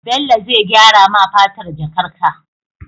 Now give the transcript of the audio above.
Bello zai gyara ma fatar jakar ka